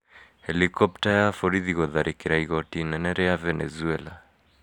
Helikopta ya borithi gũtharĩkĩra igooti inene rĩa Venezuela